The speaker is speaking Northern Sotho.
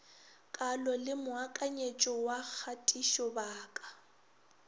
kalo le moakanyetšo wa kgatišobaka